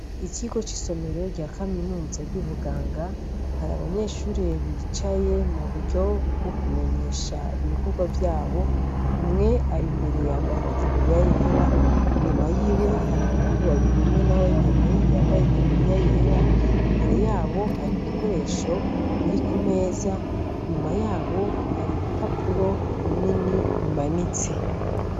Ikigo c'isomero rya Kaminuza ry'ubuganga, hari abanyeshure bicaye mu buryo bwo kumenyesha ibikorwa vyabo, umwe ari imbere yambaye itaburiya yera, inyuma yiwe hari abahungu babiri umwe nawe nyene yambaye itaburiya yera, imbere yabo hari ibikoresho biri ku meza, inyuma yabo hari ibipapuro binini bimanitse.